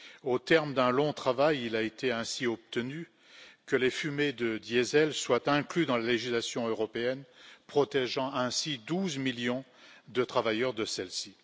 Au terme d'un long travail, il a été ainsi obtenu que les fumées de diesel soient inclus dans la législation européenne, protégeant ainsi 12 millions de travailleurs de celles ci.